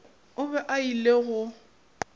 o be a ile go